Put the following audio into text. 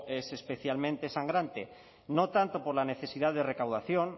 es especialmente sangrante no tanto por la necesidad de recaudación